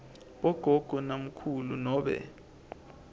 bogogo namkhulu nobe